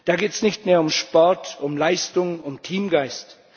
Da geht es nicht mehr um Sport, um Leistung, um Teamgeist.